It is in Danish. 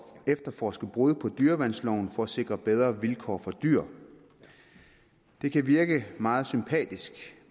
efterforske brud på dyreværnsloven for at sikre bedre vilkår for dyr det kan virke meget sympatisk